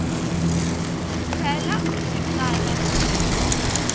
tlhela u xi tsala hi